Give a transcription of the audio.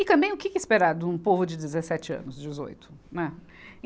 E também o que que esperar de um povo de dezessete anos, dezoito, né?